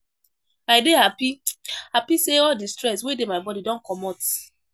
I dey happy happy say all the stress wey dey my body don comot